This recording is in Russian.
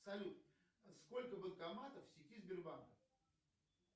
салют сколько банкоматов в сети сбербанка